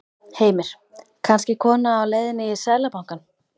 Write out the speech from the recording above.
Heimir: Kannski kona á leiðinni í Seðlabankann?